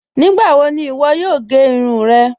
Nígbàwò ní iwọ́ yòò gẹ́ irun rẹ́?